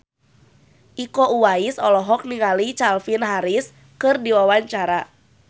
Iko Uwais olohok ningali Calvin Harris keur diwawancara